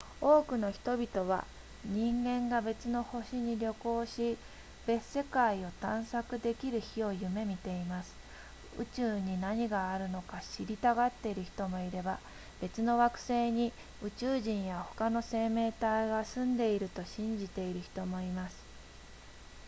多くの人々は人間が別の星に旅行し別世界を探索できる日を夢見ています宇宙に何があるのか知りたがっている人もいれば別の惑星に宇宙人や他の生命体が住んでいると信じている人もいます